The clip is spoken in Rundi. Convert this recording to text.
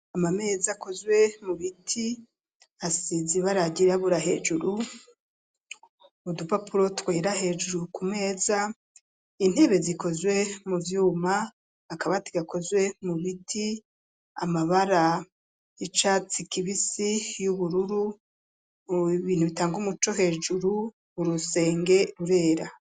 Amameza akozwe mu biti asize ibara ryirabura hejuru udupapuro twera hejuru ku meza intebe zikozwe mu vyuma akabati gakozwe mu biti amabara y'icatsi kibisi y'ubururu ubibintu bitanga umuco hejuru urusenge rurera.